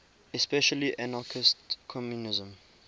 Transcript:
especially anarchist communism